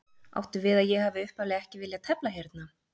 Áttu við að ég hafi upphaflega ekki viljað tefla hérna?